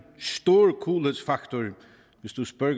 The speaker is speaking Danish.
stor coolhedsfaktor hvis du spørger